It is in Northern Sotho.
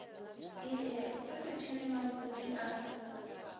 ie ge setšhene mampudi a